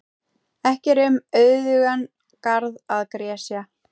Ekki er um auðugan garð að gresja.